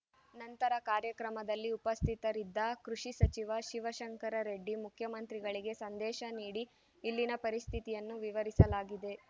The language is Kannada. ನಂತರ ಕಾರ್ಯಕ್ರಮದಲ್ಲಿ ಉಪಸ್ಥಿತರಿದ್ದ ಕೃಷಿ ಸಚಿವ ಶಿವಶಂಕರ ರೆಡ್ಡಿ ಮುಖ್ಯಮಂತ್ರಿಗಳಿಗೆ ಸಂದೇಶ ನೀಡಿ ಇಲ್ಲಿನ ಪರಿಸ್ಥಿತಿಯನ್ನು ವಿವರಿಸಲಾಗಿದೆ